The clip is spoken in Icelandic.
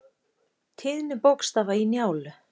Tíðni bókstafa í Njálu.